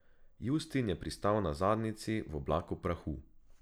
Justin je pristal na zadnjici v oblaku prahu.